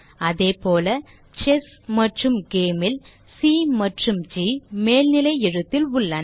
அதேபோல செஸ் மற்றும் Game ல் சி மற்றும் ஜி மேல்நிலை எழுத்தில் உள்ளன